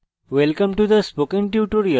welcome to the spoken tutorial